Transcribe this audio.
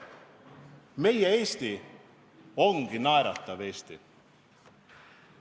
Meie Eesti ongi naeratav Eesti.